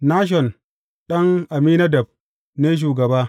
Nashon ɗan Amminadab ne shugaba.